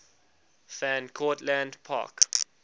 van cortlandt park